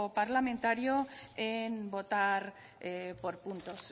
parlamentario en votar por puntos